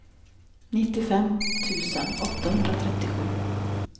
nittiofem tusen åttahundratrettiosju